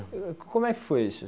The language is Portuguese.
Como é que foi isso?